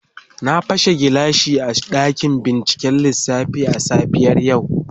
Na pashe gilashi a dakin binciken lissafi a safiyar yau.